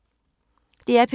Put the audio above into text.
DR P2